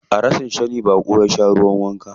A rashin sani baƙo ya sha ruwan wanka.